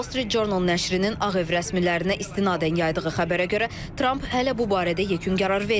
The Wall Street Journal nəşrinin Ağ Ev rəsmilərinə istinadən yaydığı xəbərə görə Tramp hələ bu barədə yekun qərar verməyib.